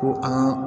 Ko an ka